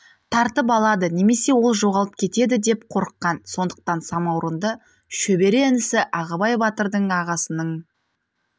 тартып алады немесе ол жоғалып кетеді деп қорыққан сондықтан самаурынды шөбере інісі ағыбай батырдың ағасының